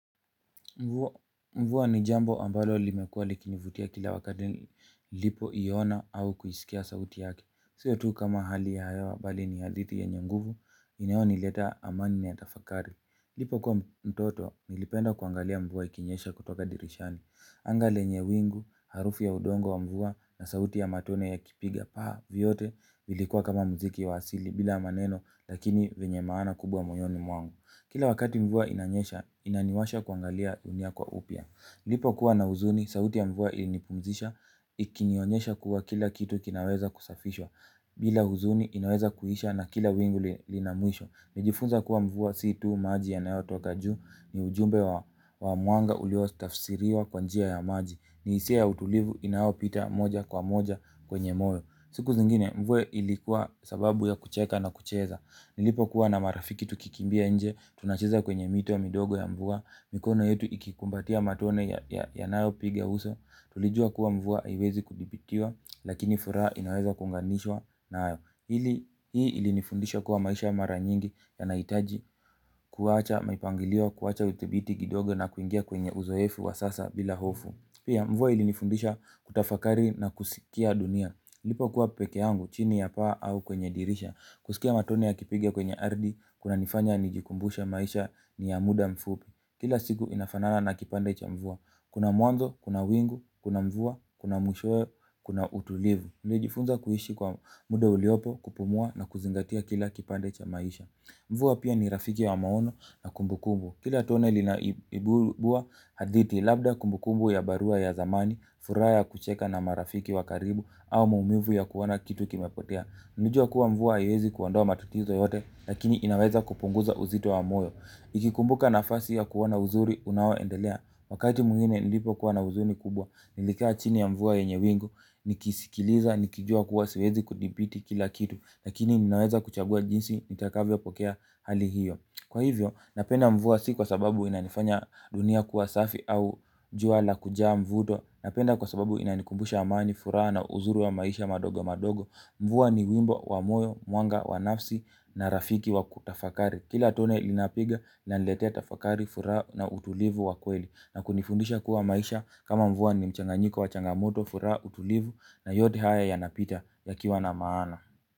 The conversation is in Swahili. Mvua ni jambo ambalo limekuwa likinivutia kila wakati nilipo iona au kuisikia sauti yake. Siyo tu kama hali ya hewa, bali ni hadithi yanye nguvu, inayoniletea amani na tafakari. Lipo kwa mtoto, nilipenda kuangalia mvua ikinyesha kutoka dirishani. Anga lenye wingu, harufu ya udongo wa mvua na sauti ya matone ya kipiga paa vyote, vilikuwa kama muziki wa asili bila maneno lakini wenye maana kubwa moyoni mwangu. Kila wakati mvua inanyesha, inaniwasha kuangalia dunia kwa upya. Nilipokuwa na huzuni, sauti ya mvua ilinipumzisha. Ikinionyesha kuwa kila kitu kinaweza kusafishwa kila huzuni inaweza kuisha na kila wingu lina mwisho. Nilijifunza kuwa mvua si tu maji yanayotoka juu, ni ujumbe wa mwanga uliotafsiriwa kwa njia ya maji. Ni hisia ya utulivu inayopita moja kwa moja kwenye moyo. Siku zingine, mvua ilikuwa sababu ya kucheka na kucheza. Nilipo kuwa na marafiki tukikimbia nje, tunacheza kwenye mito ya midogo ya mvua, mikono yetu ikikumbatia matone yanayo piga uso, tulijua kuwa mvua haiwezi kudhibitiwa, lakini furaha inaweza kunganishwa nayo. Hii ilinifundisha kuwa maisha mara nyingi yanaitaji kuacha mipangilio, kuacha udhibiti gidogo na kuingia kwenye uzoefu wa sasa bila hofu. Pia mvua ilinifundisha kutafakari na kusikia dunia. Nilipokua peke yangu, chini ya paa au kwenye dirisha. Kusikia matone ya kipiga kwenye ardhi, kunanifanya najikumbusha maisha ni ya muda mfupi. Kila siku inafanana na kipande cha mvua. Kuna mwanzo, kuna wingu, kuna mvua, kuna mwisho, kuna utulivu. Nilijifunza kuishi kwa muda uliopo, kupumua na kuzingatia kila kipande cha maisha. Mvua pia ni rafiki ya maono na kumbu kumbu. Kila tone linaibua hadithi labda kumbu kumbu ya barua ya zamani, furaha ya kucheka na marafiki wa karibu au muumivu ya kuona kitu kimepotea. Najua kuwa mvua haiwezi kuondoa matatizo yote lakini inaweza kupunguza uzito wa moyo. Nikikumbuka nafasi ya kuona uzuri unaoendelea. Wakati mwngine nilipokuwa na huzuni kubwa, nilikaa chini ya mvua yenye wingu. Nikisikiliza, nikijua kuwa siwezi kudhibiti kila kitu. Lakini ninaweza kuchagua jinsi, nitakavyopokea hali hiyo. Kwa hivyo, napenda mvua si kwa sababu inanifanya dunia kuwa safi au jua la kujaa mvuto. Napenda kwa sababu inanikumbusha amani, furaha na uzuri wa maisha madogo madogo. Mvua ni wimbo wa moyo, mwanga wa nafsi na rafiki wa kutafakari. Kila tone linapiga linaleteta fakari furaha na utulivu wa kweli, na kunifundisha kuwa maisha kama mvua ni mchanganyiko wa changamoto furaha, utulivu na yote haya yanapita yakiwa na maana.